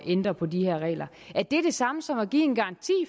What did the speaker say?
ændre på de her regler det samme som at give en garanti